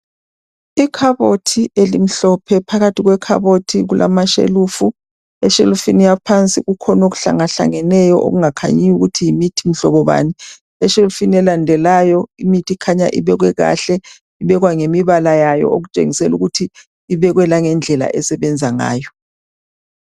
Ikhabothi elimhlophe, phakathi kwekhabothi kulamashelufu. Eshelufini yaphansi kukhona okuhlangehlangeneyo okungakhanyiyo ukuthi yimithi mhlobo bani. Eshelufini elandelayo imithi ikhanya ibekwe kahle ngemibala yayo okutshengisela ukuthi ibekwe langendlela esebenza ngayo.